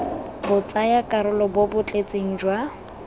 botsayakarolo bo bo tletseng jwa